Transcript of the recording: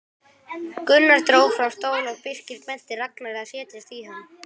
Gunnar dró fram stól og Birkir benti Ragnari að setjast í hann.